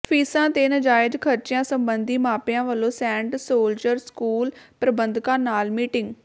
ਫ਼ੀਸਾਂ ਤੇ ਨਾਜਾਇਜ਼ ਖ਼ਰਚਿਆਂ ਸਬੰਧੀ ਮਾਪਿਆਂ ਵੱਲੋਂ ਸੇਂਟ ਸੋਲਜਰ ਸਕੂਲ ਪ੍ਰਬੰਧਕਾਂ ਨਾਲ ਮੀਟਿੰਗ